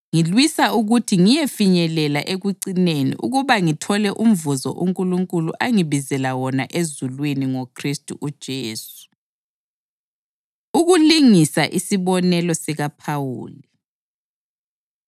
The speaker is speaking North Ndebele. ngilwisa ukuthi ngiyefinyelela ekucineni ukuba ngithole umvuzo uNkulunkulu angibizela wona ezulwini ngoKhristu uJesu. Ukulingisa Isibonelo SikaPhawuli